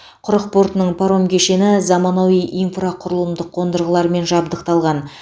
құрық портының паром кешені заманауи инфрақұрылымдық қондырғылармен жабдықталған